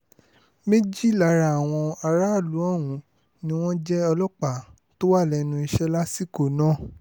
méjì lára àwọn aráàlú ọ̀hún ni wọ́n jẹ́ ọlọ́pàá tó wà lẹ́nu iṣẹ́ lásìkò náà